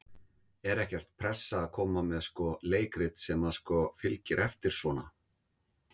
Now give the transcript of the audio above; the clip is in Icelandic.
Er ekkert pressa að koma með sko leikrit sem að sko fylgir eftir svona?